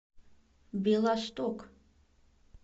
белосток